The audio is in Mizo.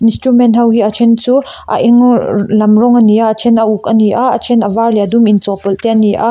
instrument ho hi a then chu a eng lam rawng ani a a then a uk a ni a a then a var leh a dum inchawhpawlh te ani a.